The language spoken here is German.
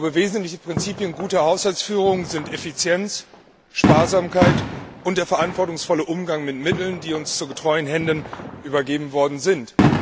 Wesentliche Prinzipien guter Haushaltsführung sind Effizienz, Sparsamkeit und der verantwortungsvolle Umgang mit Mitteln, die uns zu getreuen Händen übergeben worden sind.